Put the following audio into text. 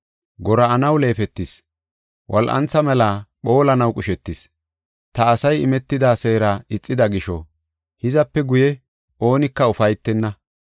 “Gora7anaw leefetis; wol7antha mela phoolanaw qushetis. Ta asay imetida seera ixida gisho, hizape guye, oonika ufaytenna.